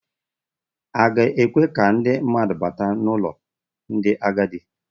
A ga-ekwe ka ndị mmadụ bata n'ụlọ ndị agadi.